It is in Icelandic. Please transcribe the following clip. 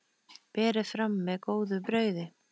Berið fram með góðu brauði.